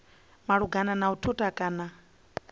malugana na u thutha kana